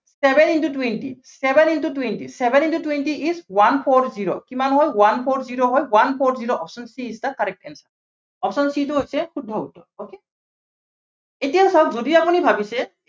seven into twenty, seven into twenty, seven into twenty is one four zero কিমান হ'ল one four zero কিমান হ'ল one four zero, option c is the correct answer option c টো হৈছে শুদ্ধ উত্তৰ okay এতিয়া চাওক যদি আপুনি ভাবিছে